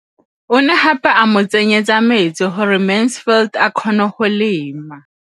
O ne gape a mo tsenyetsa metsi gore Mansfield a kgone go lema.